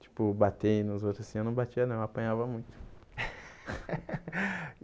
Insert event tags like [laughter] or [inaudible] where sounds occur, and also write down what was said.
Tipo, bater nos outros, assim eu não batia não, eu apanhava muito. [laughs]